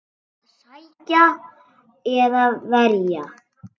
Að sækja eða verja?